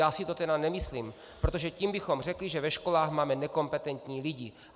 Já si to tedy nemyslím, protože tím bychom řekli, že ve školách máme nekompetentní lidi.